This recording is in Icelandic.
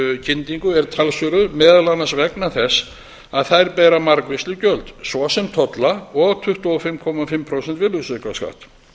varmadælukyndingu er talsverður meðal annars vegna þess að þær bera margvísleg gjöld svo sem tolla og tvö hundruð fimmtíu og fimm prósenta virðisaukaskatt